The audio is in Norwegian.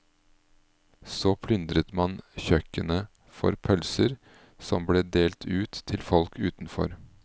Så plyndret man kjøkkenet for pølser, som ble delt ut til folk utenfor.